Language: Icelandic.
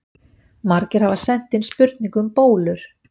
Margir hafa sent inn spurningu um bólur.